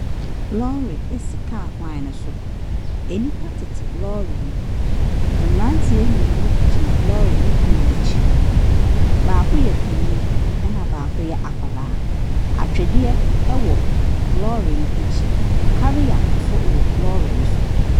Lɔre si kaa kwan no so. Nnipa tete lɔre no mu. Mmeranteɛ mmienu gyina lɔre ne pono akyi. Baako yɛ panin, ɛnna baako yɛ akwadaa. Atwedeɛ wɔ lɔre no akyi. Carrier nso wowɔ lɔre no so.